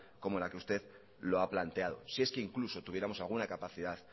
como la que usted la ha planteado si es que incluso tuviéramos alguna capacidad